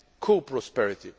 and co prosperity.